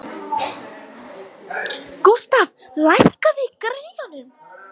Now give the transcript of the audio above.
Gústaf, lækkaðu í græjunum.